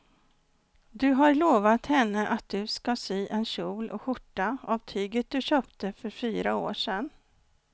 Du har lovat henne att du ska sy en kjol och skjorta av tyget du köpte för fyra år sedan.